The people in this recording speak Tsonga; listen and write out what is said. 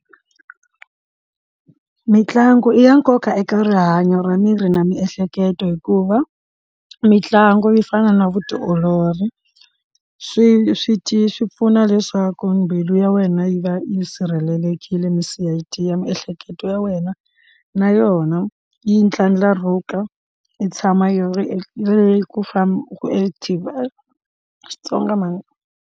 Mintlangu i ya nkoka eka rihanyo ra miri na miehleketo hikuva mitlangu yo fana na vutiolori swi swi swi pfuna leswaku mbilu ya wena yi va yi sirhelelekile misidi ya miehleketo ya wena na yona yi tlangaruka yi tshama yi ri leyi ku famba u active hayi xitsonga mhani.